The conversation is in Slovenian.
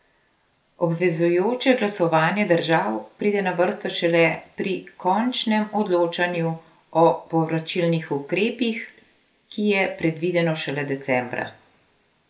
Obvezujoče glasovanje držav pride na vrsto šele pri končnem odločanju o povračilnih ukrepih, ki je predvideno šele decembra.